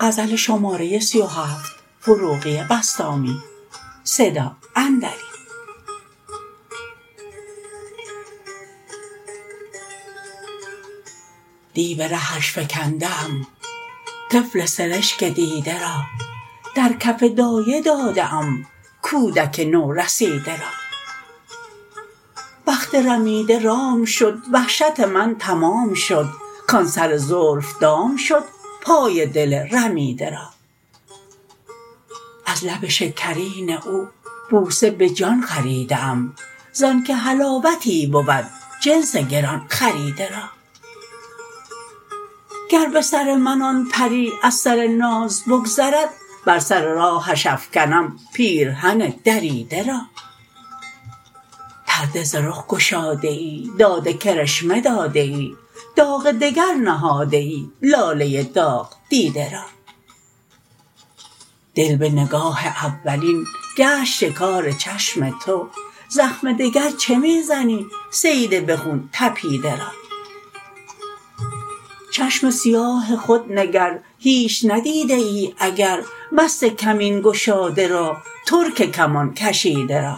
دی به رهش فکنده ام طفل سرشک دیده را در کف دایه داده ام کودک نورسیده را بخت رمیده رام شد وحشت من تمام شد کان سر زلف دام شد پای دل رمیده را از لب شکرین او بوسه به جان خریده ام زان که حلاوتی بود جنس گران خریده را گر به سر من آن پری از سر ناز بگذرد بر سر راهش افکنم پیرهن دریده را پرده ز رخ گشاده ای داد کرشمه داده ای داغ دگر نهاده ای لاله داغ دیده را دل به نگاه اولین گشت شکار چشم تو زخم دگر چه می زنی صید به خون تپیده را چشم سیاه خود نگر هیچ ندیده ای اگر مست کمین گشاده را ترک کمان کشیده را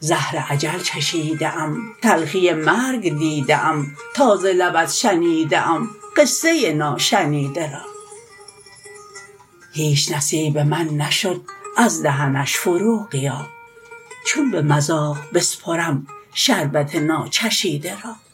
زهر اجل چشیده ام تلخی مرگ دیده ام تا ز لبت شنیده ام قصه ناشنیده را هیچ نصیب من نشد از دهنش فروغیا چون به مذاق بسپرم شربت ناچشیده را